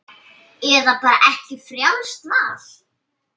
Eða bara ekki, frjálst val.